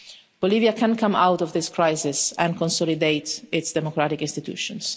Bolivia can come out of this crisis and consolidate its democratic institutions.